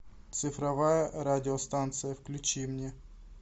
цифровая радиостанция включи мне